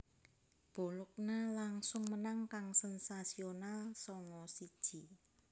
Bologna langsung menang kang sensasional sanga siji